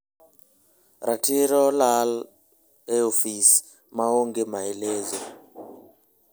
ratiro lal e ofis ma onge maelezo